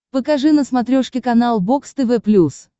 покажи на смотрешке канал бокс тв плюс